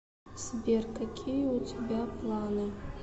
сбер какие у тебя планы